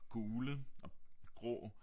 Gule og grå